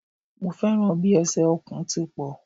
Mo fẹ́ràn bi ẹsẹ̀ Ọ̀kùn ti pọ̀